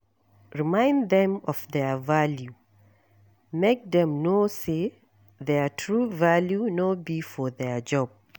Remind dem of their value, make dem know say their true value no be for their job